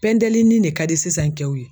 Pɛndelinin de ka di sisan cɛw ye